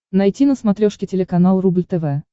найти на смотрешке телеканал рубль тв